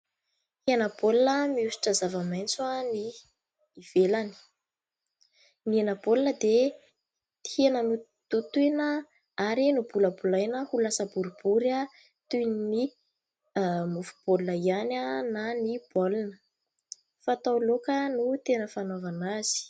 Hena baolina miosotra zavamaitso ny ivelany. Ny hena baolina dia hena nototoina ary nobolabolaina ho lasa boribory toy ny mofo baolina ihany na ny baolina. Fatao laoka no tena fanaovana azy.